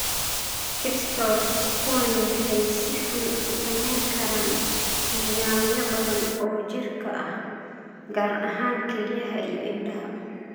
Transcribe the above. crystals Kuwani waxay si xun u saameyn karaan nidaamyo badan oo jirka ah, gaar ahaan kelyaha iyo indhaha.